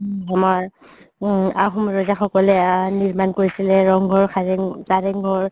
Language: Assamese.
আমাৰ আহুম ৰজা সকলে আ নিৰমাণ কৰিছিলে ৰংঘৰ কাৰেংঘৰ